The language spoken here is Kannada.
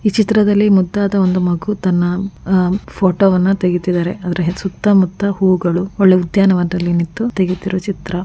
ಈ ಚಿತ್ರದಲ್ಲಿ ಮುದ್ದಾದ ಒಂದು ಮಗು ತನ್ನ ಆಹ್ಹ್ ಫೋಟೋ ವನ್ನು ತೆಗಿತಿದಾರೆ ಅದರ ಸುತ್ತ ಮುತ್ತ ಹೂಗಳು ಒಳ್ಳೆ ಉದ್ಯಾನವನದಲ್ಲಿ ನಿಂತು ತೆಗಿತಿರೋ ಚಿತ್ರ .